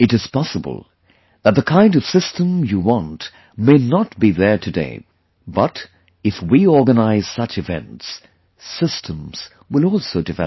It is possible that the kind of system you want may not be there today, but if we organize such events, systems will also develop